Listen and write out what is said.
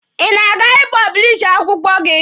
Ị na-aga ị pọblishi akwụkwọ gị?